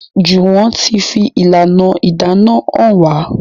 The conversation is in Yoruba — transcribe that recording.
Juwon tí fi ìlànà ìdáná hàn wá.